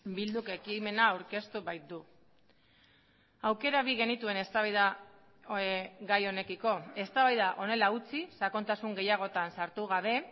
bilduk ekimena aurkeztu baitu aukera bi genituen eztabaida gai honekiko eztabaida honela utzi sakontasun gehiagotan sartu gabe